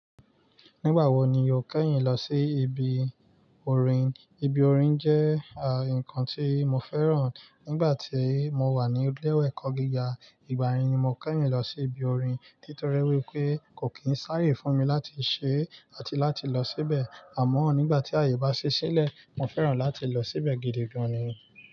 Nígbà wo ni o kẹ́yìn lọ sí ibi orin? Ibi orin jẹ́ àh, ǹkan tí mo fẹ́ràn. Nígbà tí mo wà ní ilé ẹ̀kọ́ gíga, ìgbà yẹn ni mo kẹ́yìn lọ sí ibi orin. Nítorí wípé kò kìí sáyé fún mi láti ṣe àti láti lọ síbẹ̀. Àmọ́ nígbà tí àyè bá ṣe sílẹ̀, mo fẹ́ràn láti lọ síbẹ̀ gidi gan ni.